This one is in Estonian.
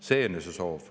See on ju see soov.